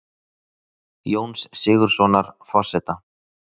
Jóns Sigurðssonar forseta.